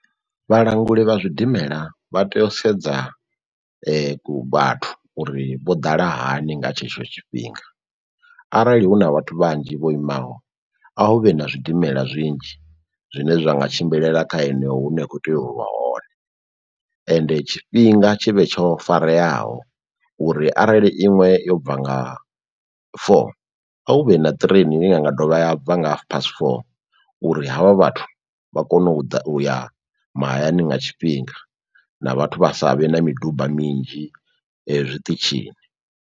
Vhalanguli vha zwidimela vha tea u sedza ku vhathu uri vho ḓala hani nga tshetsho tshifhinga, arali hu na vhathu vhanzhi vho imaho a hu vhe na zwidimela zwinzhi zwine zwa nga tshimbilela kha heneyo hune ya khou tea u vha hone, ende tshifhinga tshi vhe tsho fareyaho uri arali iṅwe yobva nga four a hu vhe na train inga dovha ya bva nga pass four uri havha vhathu vha kone u ḓa u ya mahayani nga tshifhinga na vhathu vha sa vhe na miduba minzhi zwiṱitshini.